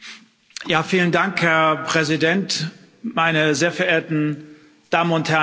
Herr Präsident, meine sehr verehrten Damen und Herren Abgeordnete!